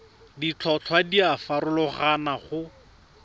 ditlhotlhwa di a farologana go